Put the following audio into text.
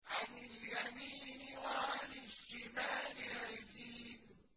عَنِ الْيَمِينِ وَعَنِ الشِّمَالِ عِزِينَ